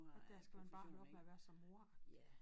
Og dér skal man bare holde op med at være så moragtig